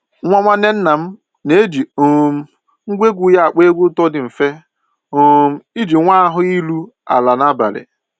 Nwa nwanne nna m na-eji um ngwa egwu ya akpọ egwu ụtọ dị mfe um iji nwee ahụ iru ala n'abalị